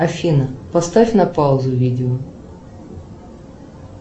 афина поставь на паузу видео